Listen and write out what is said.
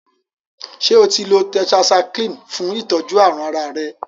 Ṣe otí lọ tetracycline fún itọjú àrùn àrà rẹ.?